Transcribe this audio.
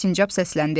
deyə sincab səsləndi.